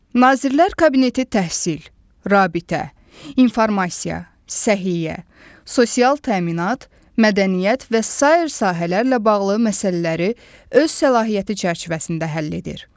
Nazirlər Kabineti təhsil, rabitə, informasiya, səhiyyə, sosial təminat, mədəniyyət və sair sahələrlə bağlı məsələləri öz səlahiyyəti çərçivəsində həll edir.